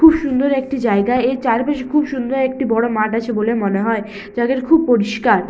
খুব সুন্দর একটি জায়গা এর চারপাশে খুব সুন্দর একটি বড় মাঠ আছে বলে মনে হয় যাদের খুব পরিষ্কার--